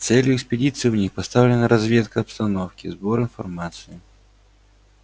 целью экспедиции у них поставлена разведка обстановки сбор информации